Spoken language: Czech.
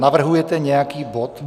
Navrhujete nějaký bod?